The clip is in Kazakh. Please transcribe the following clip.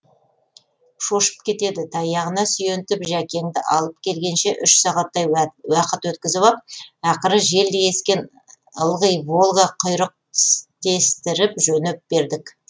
шошып кетеді таяғына сүйентіп жәкеңді алып келгенше үш сағаттай уақыт өткізіп ап ақыры желдей ескен ылғи волга құйрық тістестіріп жөніп бердік